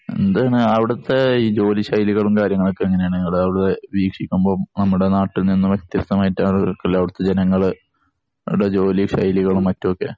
എന്താണ് അവിടത്തെ ഈ ജോലി ശൈലികളും കാര്യങ്ങളും ഒക്കെ എങ്ങനെയാണ്? ഇങ്ങള് അവിടെ വീക്ഷിക്കുമ്പോ നമ്മുടെ നാട്ടിൽ നിന്നും വ്യത്യസ്തമായിട്ട് ആയിരിക്കും അവിടത്തെ ജനങ്ങളുടെ ജോലി ശൈലികളും മറ്റുമൊക്കെ